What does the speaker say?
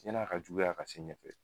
Ɲan'a ka juguya ka se ɲɛfɛ